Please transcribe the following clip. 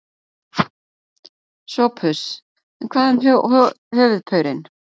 SOPHUS: En hvað um höfuðpaurinn?